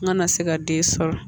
N kana se ka den sɔrɔ